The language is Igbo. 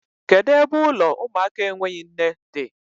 Kedu ebe ụlọ ụmụaka enweghị nne dị?